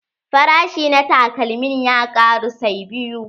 Farashi na takalmin ya ƙaru sai biyu.